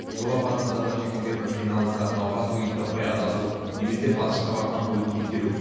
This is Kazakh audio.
жол апатынан зардап шеккендердің қиналысы науқастың үйін таппай адасу немесе балшыққа батқан көлікті итеру